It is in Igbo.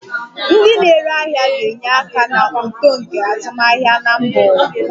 Ndị na-ere ahịa ga-enye aka na uto nke azụmahịa na mba ụwa.